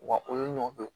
Wa olu ɲɔgɔn kɛ